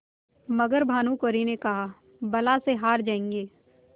मगर भानकुँवरि ने कहाबला से हार जाऍंगे